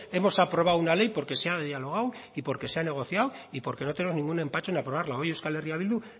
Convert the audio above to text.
hemos aprobado una ley porque se ha dialogado y porque se ha negociado y porque no tenemos ningún empacho en aprobarla hoy euskal herria bildu